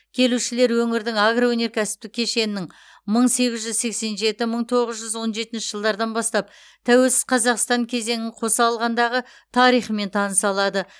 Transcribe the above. келушілер өңірдің агроөнеркәсіптік кешенінің мың сегіз жүз сексен жеті мың тоғыз жүз он жетінші жылдардан бастап тәуелсіз қазақстан кезеңін қоса алғандағы тарихымен таныса алады